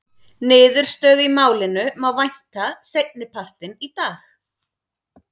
Niðurstöðu í málinu má vænta seinni partinn í dag.